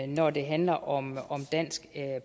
når det handler om dansk